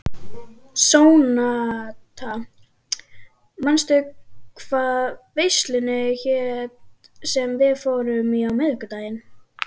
Sónata, manstu hvað verslunin hét sem við fórum í á miðvikudaginn?